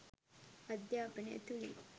අධ්‍යාපනය තුළින්